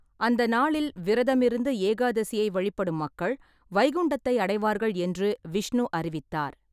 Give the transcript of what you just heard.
அந்த நாளில் விரதமிருந்து ஏகாதசியை வழிபடும் மக்கள் வைகுண்டத்தை அடைவார்கள் என்று விஷ்ணு அறிவித்தார்.